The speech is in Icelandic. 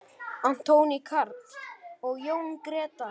Anthony Karl og Jón Gretar.